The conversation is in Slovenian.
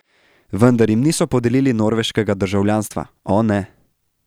Vendar jim niso podelili norveškega državljanstva, o ne.